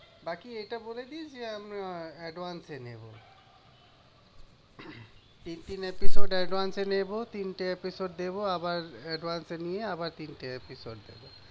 বাকি এটা বলে দিস যে, advance ই নেবো। তিনটে episode advance এ নেবো তিনটে episode দেবো, আবার advance এ নিয়ে আবার তিনটে episode দেবো।